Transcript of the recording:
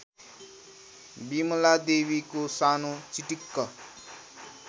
बिमलादेवीको सानो चिटिक्क